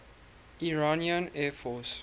iranian air force